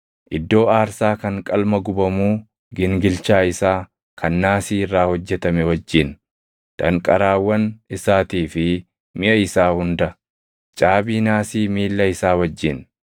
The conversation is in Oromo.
iddoo aarsaa kan qalma gubamuu gingilchaa isaa kan naasii irraa hojjetame wajjin, danqaraawwan isaatii fi miʼa isaa hunda, caabii naasii miilla isaa wajjin,